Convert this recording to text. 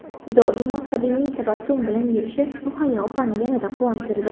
Doimo samimiy tabassum bilan yurishi Muhayyo opani yanada quvontirdi.